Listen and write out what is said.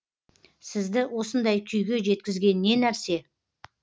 сізді осындай күйге жеткізген не нәрсе